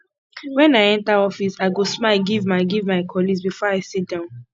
when i enter office i go smile give my give my colleagues before i sit down